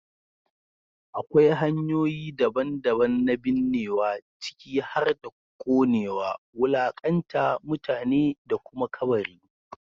Akwai hanyoyi daban-daban na binnewa, ciki har da ƙonewa, wulaƙanta mutane, da kuma kabari.